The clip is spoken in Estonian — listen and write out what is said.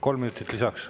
Kolm minutit lisaks.